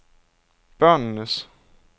børnenes